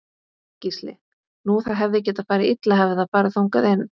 Gísli: Nú það hefði getað farið illa hefði það farið þangað inn?